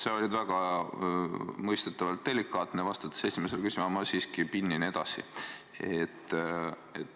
Sa olid väga mõistetavalt delikaatne, vastates esimesele küsimusele, aga ma siiski pinnin edasi.